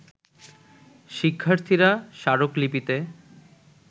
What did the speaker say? শিক্ষার্থীরা স্মারক লিপিতে